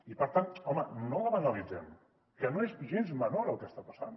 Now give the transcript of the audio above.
i per tant home no la banalitzem que no és gens menor el que està passant